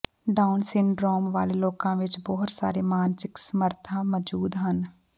down syndrome ਵਾਲੇ ਲੋਕਾਂ ਵਿੱਚ ਬਹੁਤ ਸਾਰੇ ਮਾਨਸਿਕ ਸਮਰੱਥਾ ਮੌਜੂਦ ਹਨ